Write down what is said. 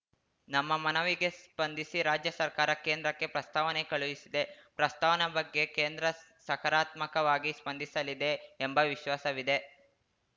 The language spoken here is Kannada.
ನಮ್ಮ ಮನವಿಗೆ ಸ್ಪಂದಿಸಿ ರಾಜ್ಯ ಸರ್ಕಾರ ಕೇಂದ್ರಕ್ಕೆ ಪ್ರಸ್ತಾವನೆ ಕಳುಹಿಸಿದೆ ಪ್ರಸ್ತಾವನೆ ಬಗ್ಗೆ ಕೇಂದ್ರ ಸಕಾರಾತ್ಮಕವಾಗಿ ಸ್ಪಂದಿಸಲಿದೆ ಎಂಬ ವಿಶ್ವಾಸವಿದೆ